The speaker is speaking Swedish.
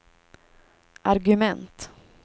argument